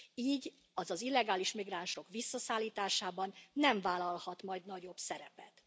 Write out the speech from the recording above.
Így az az illegális migránsok visszaszállításában nem vállalhat majd nagyobb szerepet.